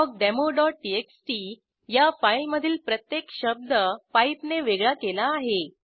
awkdemoटीएक्सटी या फाईलमधील प्रत्येक शब्द पाइप ने वेगळा केला आहे